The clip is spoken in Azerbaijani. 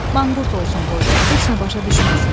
Manqurt olsun qoy, heç nə başa düşməsin.